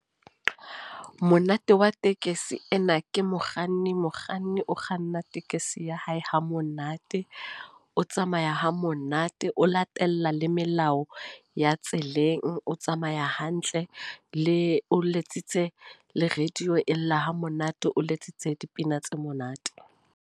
Monate wa tekesi ena, ke mokganni. Mokganni o kganna tekesi ya hae ha monate. O tsamaya ha monate. O latella le melao ya Tseleng. O tsamaya hantle Le, o letsitse le radio e lla ha monate. O letsitse dipina tse monate.